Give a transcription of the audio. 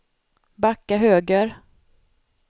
backa höger